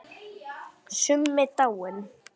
Summi dáinn.